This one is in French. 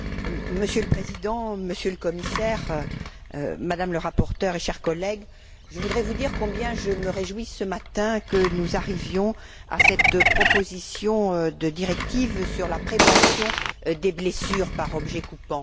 Monsieur le Président, Monsieur le Commissaire, Madame le rapporteur, chers collègues, je voudrais vous dire combien que je me réjouis, ce matin, que nous arrivions à cette proposition de directive sur la prévention des blessures par objets coupants.